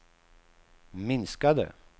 minskade